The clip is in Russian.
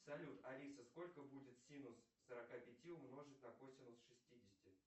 салют алиса сколько будет синус сорока пяти умножить на косинус шестидесяти